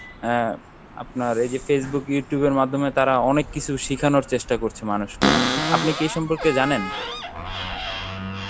অ্যাঁ আপনার এই যে Facebook, Youtube এর মাধ্যমে তারা অনেক কিছু শেখানোর চেষ্টা করছে মানুষকে আপনি কি এই সম্পর্কে জানেন?